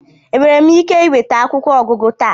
Enwere m ike ịnweta akwụkwọ ọgụgụ taa?